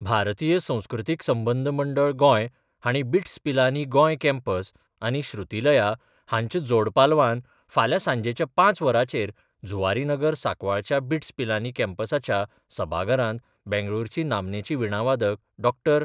भारतीय संस्कृतीक संबंद मंडळ गोंय हांणी बिट्स पिलानी गोंय कॅम्पस आनी श्रुतीलया हांच्या जोड पालवान फाल्यां सांजेच्या पांच वरांचेर जुवारी नगर सांकवाळच्या बिट्स पिलानी कॅम्पसाच्या सभाघरांत बंगळुरूची नामनेची विणावादक डॉ.